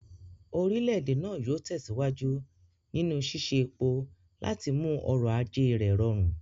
Orílẹ̀-èdè náà yóò tẹ̀síwájú nínú ṣíṣe epo láti mú ọrọ̀ ajé rẹ̀ rọrùn.